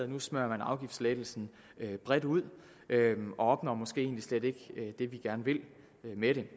nu smører man afgiftslettelsen bredt ud og opnår måske egentlig slet ikke det med det